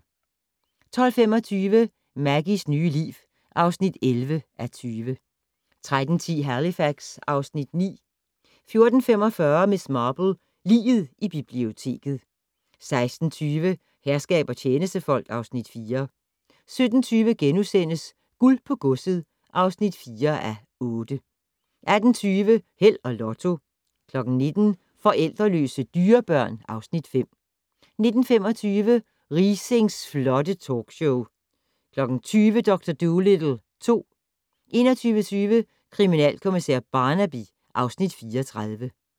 12:25: Maggies nye liv (11:20) 13:10: Halifax (Afs. 9) 14:45: Miss Marple: Liget i biblioteket 16:20: Herskab og tjenestefolk (Afs. 4) 17:20: Guld på godset (4:8)* 18:20: Held og Lotto 19:00: Forældreløse dyrebørn (Afs. 5) 19:25: Riisings flotte talkshow 20:00: Dr. Dolittle 2 21:20: Kriminalkommissær Barnaby (Afs. 34)